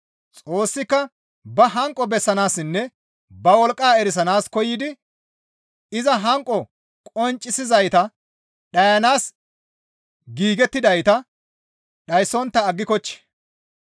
Xoossika ba hanqo bessanaassinne ba wolqqa erisanaas koyidi iza hanqo qonccisizayta, dhayanaas giigettidayta dhayssontta aggikochchi!